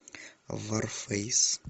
варфейс